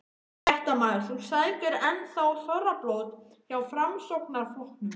Fréttamaður: Þú sækir enn þá þorrablót hjá Framsóknarflokknum?